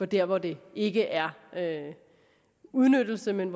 der hvor det ikke er udnyttelse men